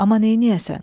Amma neyləyəsən?